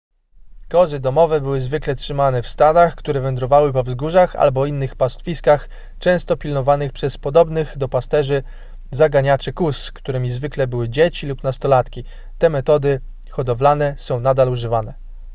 kozy domowe były zwykle trzymane w stadach które wędrowały po wzgórzach albo innych pastwiskach często pilnowanych przez podobnych do pasterzy zaganiaczy kóz którymi zwykle były dzieci lub nastolatki te metody hodowlane są nadal używane